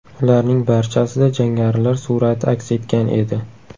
Ularning barchasida jangarilar surati aks etgan edi.